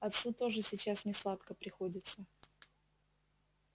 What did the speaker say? отцу тоже сейчас несладко приходится